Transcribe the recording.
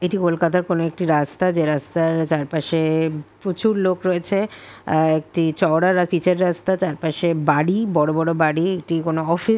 এটি কলকাতার কোন একটি রাস্তা যে রাস্তার চার পশে প্রচুর লোক রয়েছে একটি চওড়া পিচের রাস্তা। চার পাসে বাড়ি বড় বড় বাড়ি একটি কোন অফিস ।